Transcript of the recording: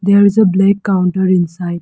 There is a black counter inside.